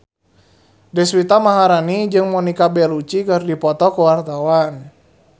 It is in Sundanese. Deswita Maharani jeung Monica Belluci keur dipoto ku wartawan